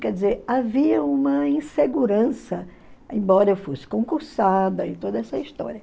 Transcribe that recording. Quer dizer, havia uma insegurança, embora eu fosse concursada e toda essa história.